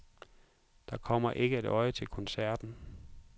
Der kommer ikke et øje til koncerten.